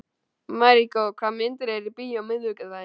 Maríkó, hvaða myndir eru í bíó á miðvikudaginn?